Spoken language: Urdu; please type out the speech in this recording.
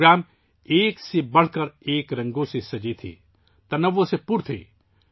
یہ پروگرام ایک سے بڑھ کر ایک رنگوں سے سجے تھے... تنوع سے بھرے تھے